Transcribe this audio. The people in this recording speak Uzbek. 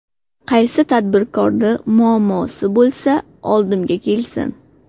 Qaysi tadbirkorni muammosi bo‘lsa oldimga kelsin.